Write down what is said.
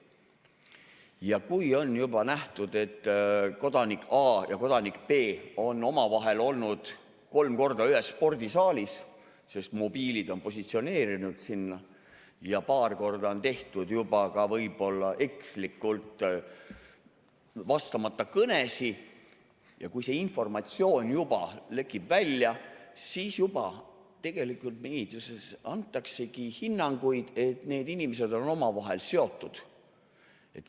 Ja kui on juba nähtud, et kodanik A ja kodanik B on omavahel olnud kolm korda ühes spordisaalis, sest mobiilid on positsioneerinud nad sinna, ja paar korda on tehtud juba ka võib-olla ekslikult vastamata kõnesid, ja kui see informatsioon lekib välja, siis tegelikult meedias antaksegi hinnanguid, et need inimesed on omavahel seotud.